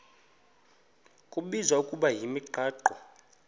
kubizwa ngokuba yimigaqo